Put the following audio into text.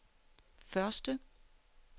første